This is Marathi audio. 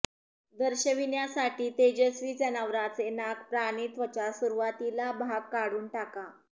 दर्शविण्यासाठी तेजस्वी जनावराचे नाक प्राणी त्वचा सुरवातीला भाग काढून टाका